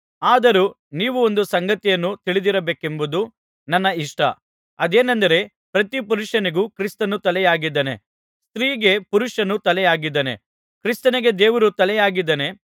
ಆದರೂ ನೀವು ಒಂದು ಸಂಗತಿಯನ್ನು ತಿಳಿದಿರಬೇಕೆಂಬುದು ನನ್ನ ಇಷ್ಟ ಅದೇನೆಂದರೆ ಪ್ರತಿ ಪುರುಷನಿಗೂ ಕ್ರಿಸ್ತನು ತಲೆಯಾಗಿದ್ದಾನೆ ಸ್ತ್ರೀಗೆ ಪುರುಷನು ತಲೆಯಾಗಿದ್ದಾನೆ ಕ್ರಿಸ್ತನಿಗೆ ದೇವರು ತಲೆಯಾಗಿದ್ದಾನೆ